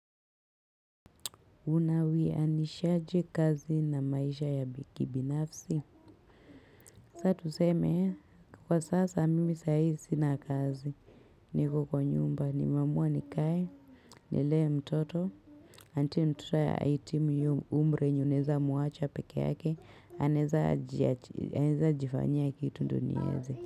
Una wianishaje kazi na maisha ya kibinafsi. Sasa tuseme kwa sasa mimi saa hii sina kazi. Niko kwa nyumba nimeamua nikae. Nilee mtoto until mtoto ahitimu hiyo umri yenye unaweza muacha peke yake anaweza jifanyia kitu ndyo niweze.